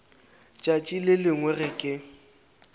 tšatši le lengwe ge ke